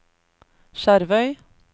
Skjervøy